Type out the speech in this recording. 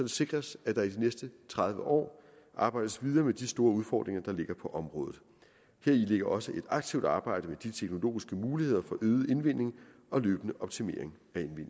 sikres at der i de næste tredive år arbejdes videre med de store udfordringer der ligger på området heri ligger også et aktivt arbejde med de teknologiske muligheder for øget indvinding og løbende optimering